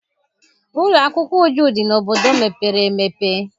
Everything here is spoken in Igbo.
Ụlọ akwụkwọ Uju dị n'obodo mepere emepe.